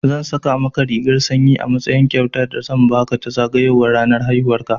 Zan saƙa maka rigar sanyi a matsayin kyautar da zan baka ta zagayowar ranar haihuwan ka.